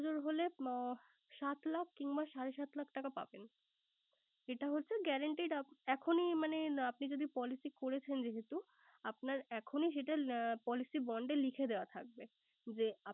দশ বছর হলে সাত লাখ কিংবা সাড়ে সাত লাখ টাকা পাবেন। এটা হচ্ছে guaranteed এখনই মানে না আপনি যদি policy করেছেন যেহেতু। আপনার এখনই সেটা policy bond এ লিখে দেওয়া থাকবে